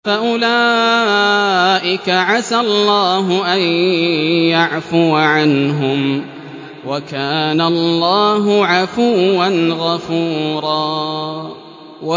فَأُولَٰئِكَ عَسَى اللَّهُ أَن يَعْفُوَ عَنْهُمْ ۚ وَكَانَ اللَّهُ عَفُوًّا غَفُورًا